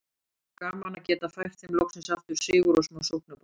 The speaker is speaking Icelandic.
Gaman að geta fært þeim loksins aftur sigur og smá sóknarbolta!